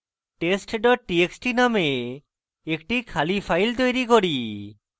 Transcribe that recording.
test txt txt name একটি খালি file তৈরী করি